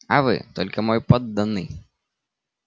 а вы только мой подданный